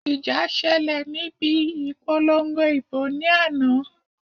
Ìjà ṣẹlẹ̀ níbi ìpolongo ìbò ní àná